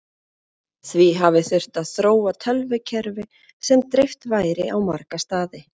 Því hafi þurft að þróa tölvukerfi sem dreift væri á marga staði.